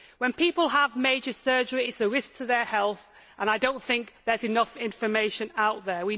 When people have major surgery it is a risk to their health and I do not think there is enough information out there.